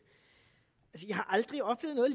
jeg har aldrig oplevet